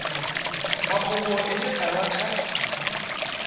mafhungo ane a vha kha